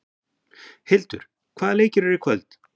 Hildur, hvaða leikir eru í kvöld?